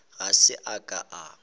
ga se a ka a